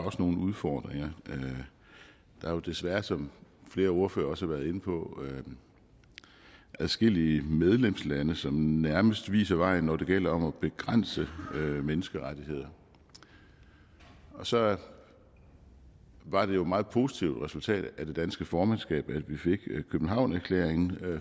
nogle udfordringer der er jo desværre som flere ordførere også har været inde på adskillige medlemslande som nærmest viser vejen når det gælder om at begrænse menneskerettigheder så var det jo et meget positivt resultat af det danske formandskab at vi fik københavnerklæringen